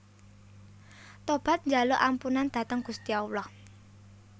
Tobat njaluk ampunan dhateng Gusti Allah